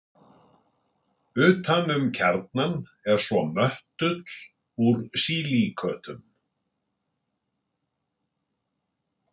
utan um kjarnann er svo möttull úr sílíkötum